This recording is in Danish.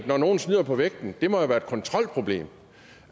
når nogle snyder på vægten må være et kontrolproblem